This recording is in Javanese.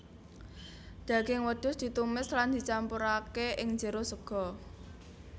Daging wedhus ditumis lan dicampurake ing jero sega